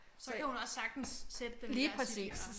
Så kan hun også sagtens sætte dem i hvert sit hjørne